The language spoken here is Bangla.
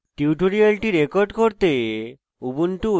tutorial record করতে